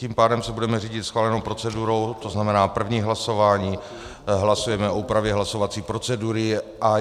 Tím pádem se budeme řídit schválenou procedurou, to znamená, první hlasování - hlasujeme o úpravě hlasovací procedury.